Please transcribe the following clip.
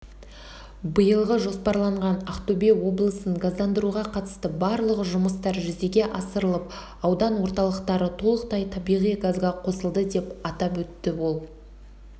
биылға жоспарланған ақтөбе облысын газдандыруға қатысты барлық жұмыстар жүзеге асырылып аудан орталықтары толықтай табиғи газға қосылды деп атап өтті ол